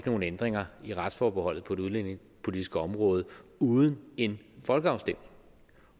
nogen ændringer i retsforbeholdet på det udlændingepolitiske område uden en folkeafstemning